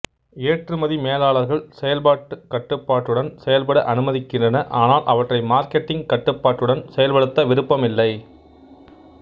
ஏற்றுமதி மேலாளர்கள் செயல்பாட்டு கட்டுப்பாட்டுடன் செயல்பட அனுமதிக்கின்றன ஆனால் அவற்றை மார்க்கெட்டிங் கட்டுப்பாட்டுடன் செயல்படுத்த விருப்பம் இல்லை